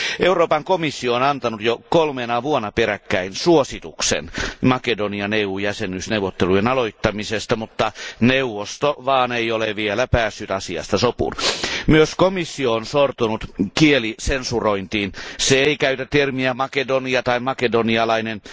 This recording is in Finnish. Euroopan komissio on antanut jo kolmena vuonna peräkkäin suosituksen Makedonian EU jäsenyysneuvottelujen aloittamisesta, mutta neuvosto vaan ei ole vielä päässyt asiasta sopuun. Myös komissio on sortunut kielisensurointiin se ei käytä termiä Makedonia tai makedonialainen.